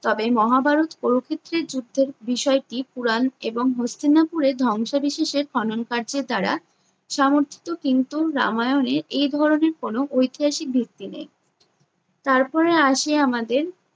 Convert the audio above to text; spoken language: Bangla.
তবে মহাভারত প্রকৃতির যুদ্ধের বিষয়টি পুরাণ এবং হস্তিনাপুরে ধ্বংসাবিশেষের খননকার্যের দ্বারা সামর্থিত কিন্তু রামায়ণের এই ধরণের কোনো ঐতিহাসিক ভিত্তি নেই। তারপরে আসে আমাদের